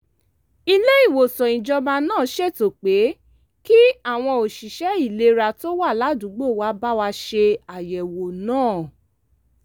ilé-ìwòsàn ìjọba náà ṣètò pé kí àwọn òṣìṣẹ́ ìlera tó wà ládùúgbò wa bá wa ṣe àyẹ̀wò náà